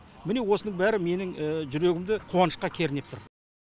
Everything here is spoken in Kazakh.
міне осының бәрі менің жүрегімді қуанышқа кернеп тұр